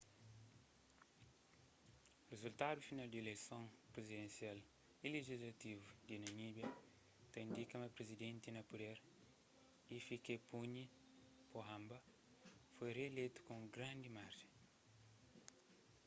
rizultadu final di ileison prizidensial y lijislativu di namíbia ta indika ma prizidenti na puder hifikepunye pohamba foi rieleitu ku un grandi marjen